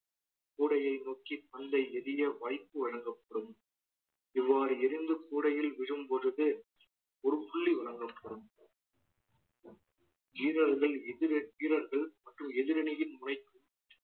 கூடையை நோக்கி பந்தை எரிய வாய்ப்பு வழங்கப்படும் இவ்வாறு எரிந்து கூடையில் விழும்போது ஒரு புள்ளி வழங்கப்படும் வீரர்கள் எதிர்அ~ வீரர்கள் மற்றும் எதிரணியின்